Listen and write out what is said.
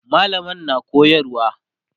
mallamar na koyarwa